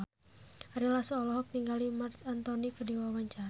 Ari Lasso olohok ningali Marc Anthony keur diwawancara